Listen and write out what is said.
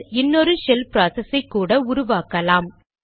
shell இன்னொரு shell process ஐ கூட உருவாக்கலாம்